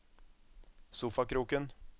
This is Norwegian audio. sofakroken